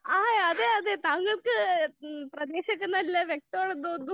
ആഹ് അതെ അതെ താങ്കൾക്ക് ഈ പ്രദേശൊക്കെ നല്ല വ്യക്തമുണ്ട് എന്ന് തോന്നുന്നു.